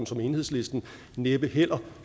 som enhedslisten næppe heller